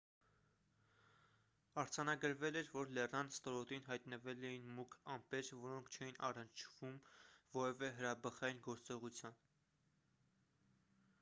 արձանագրվել էր որ լեռան ստորոտին հայտնվել էին մուգ ամպեր որոնք չէին առնչվում որևէ հրաբխային գործողության